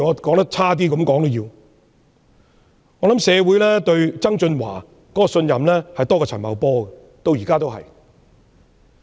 抱歉，我冒昧說一句，社會至今對曾俊華的信任仍較陳茂波多。